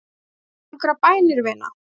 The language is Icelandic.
Kanntu einhverjar bænir, vina?